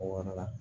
O yɔrɔ la